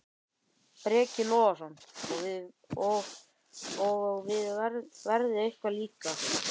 Breki Logason: Og, og veðrið eitthvað líka?